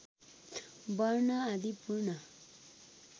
वर्ण आदि पूर्ण